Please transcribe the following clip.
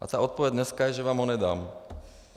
A ta odpověď dneska je, že vám ho nedám.